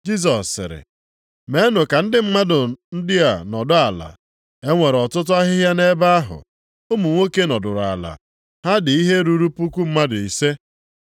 Jisọs sịrị, “Meenụ ka ndị mmadụ ndị a nọdụ ala.” E nwere ọtụtụ ahịhịa nʼebe ahụ, ụmụ nwoke nọdụrụ ala, ha dị ihe ruru puku mmadụ ise.